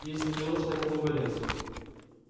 если конечно это не болезнь